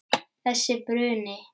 Þessi bruni.